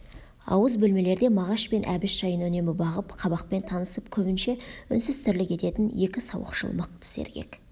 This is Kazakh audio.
ауыз бөлмелерде мағаш пен әбіш жайын үнемі бағып қабақпен танысып көбінше үнсіз тірлік ететін екі сауықшыл мықты сергек